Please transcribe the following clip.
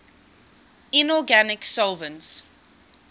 inorganic solvents